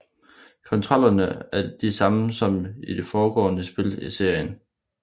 Kontrollerne er de samme som i det foregående spil i serien